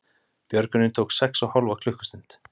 Björgunin tók sex og hálfa klukkustund